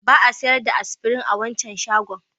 Ba a sayar da Aspirin a wancan shagon.